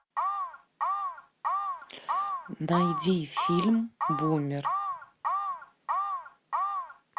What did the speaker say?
найди фильм бумер